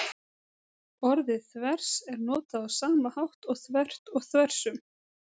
Orðið þvers er notað á sama hátt og þvert og þversum.